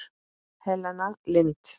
Helena Lind.